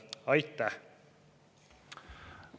Aitäh!